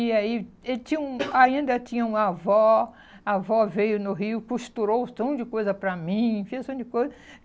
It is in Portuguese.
E aí ele tinha um ainda tinha uma avó, a avó veio no Rio, costurou um tão de coisa para mim, fez um monte de coisa.